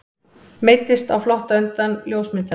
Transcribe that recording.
Meiddist á flótta undan ljósmyndara